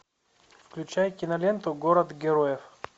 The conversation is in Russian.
включай киноленту город героев